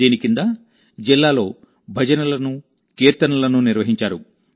దీని కిందజిల్లాలో భజనలను కీర్తనలను నిర్వహించారు